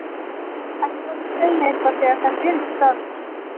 Ekki láta mig segja eitthvað þegar þetta er ekki staðfest.